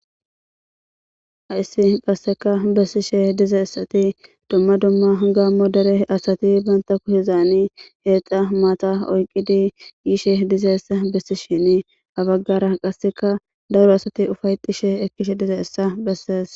Haissi qasseka bessishe diza issati dumma dumma gaam mo dere asati banta ku hizaani heexa maata oyqidi yishe dizaessa bessishini abaggara qasseka daru asati ufaytishe ekkishe diza issa bessees.